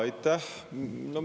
Aitäh!